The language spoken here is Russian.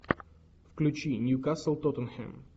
включи ньюкасл тоттенхэм